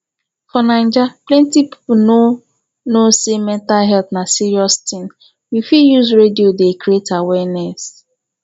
for naija plenty pipo no know sey mental health na serious thing we fit use radio dey create awareness